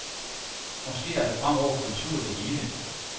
Måske er det fremover kultur det hele.